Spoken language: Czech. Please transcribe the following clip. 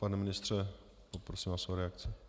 Pane ministře, poprosím vás o reakci.